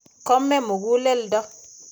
Kome muguleldo.